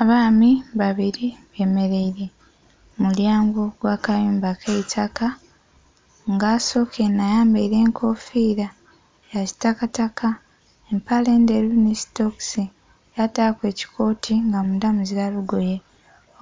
Abaami babiri be mereire muulyango gwa kayumba keitaka nga asoka enho ayambaire enkofira ya kitakataka empale endheru nhi sitokisi yataku ekikooti nga mundha muzila lugoye,